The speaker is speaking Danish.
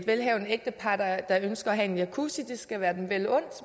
velhavende ægtepar der ønsker at have en jacuzzi skal være dem vel undt